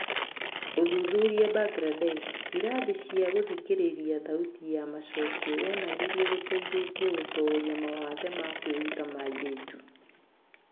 ũthuthuri Mbangirandesh, Irathi cia gũthikĩrĩria thauti ya macokio wonanirie gũteithĩtie gũtooria mawathe ma kwĩruta ma airĩtu.